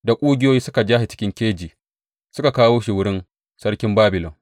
Da ƙugiyoyi suka ja shi cikin keji suka kawo shi wurin sarkin Babilon.